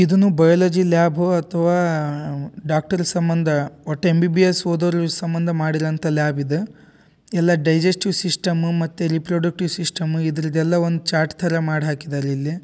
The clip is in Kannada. ಇದನ್ನು ಬಯಾಲಜಿ ಲ್ಯಾಬು ಅಥವಾ ಡಾಕ್ಟರ್ ಸಂಬಂಧ ಒಟ್ಟ್ ಎಂ.ಬಿ.ಬಿ.ಎಸ್. ಓದೋರ್ ಸಂಬಂಧ ಮಾಡಿದಂತ ಲ್ಯಾಬ್ ಇದು. ಎಲ್ಲ ಡೈಜೆಸ್ಟಿವ್ ಸಿಸ್ಟಮ್ ಮತ್ತು ರೀಪ್ರೊಡ್ಯೂಕ್ಟಿವ್ ಸಿಸ್ಟಮ್ ಇದ್ರಾದೆಲ್ಲ ಒಂದು ಚಾರ್ಟ್ ಥರ ಮಾಡ್ ಹಾಕಿದಾರೆ ಇಲ್ಲಿ.